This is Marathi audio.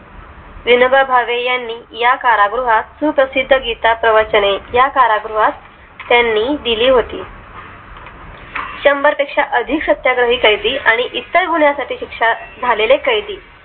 विनोबा भावे यांनी या कारागृहात सुप्रसिद्ध गीता प्रवचने या कारागृहात त्यांनी दिली होती शंभर पेक्षा अधिक सत्याग्रही कैदी आणि इतर गुन्ह्यासाठी शिक्षा झालेली कैदी